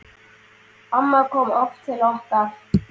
Amma kom oft til okkar.